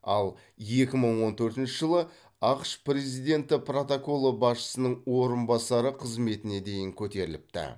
ал екі мың он төртінші жылы ақш президенті протоколы басшысының орынбасары қызметіне дейін көтеріліпті